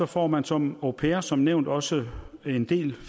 får man som au pair som nævnt også en del